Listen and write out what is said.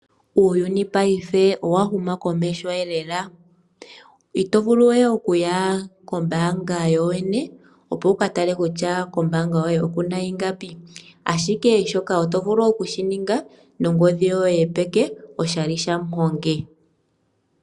Uuyuni paife owa huma komeho lela. Ito vulu we okuya kombaanga yo yene opo wu ka tale kutya kombaanga yoye oku na ingapi, ashike shoka oto vulu oku shi ninga nongodhi yoye yopeke oshali shamuhongi.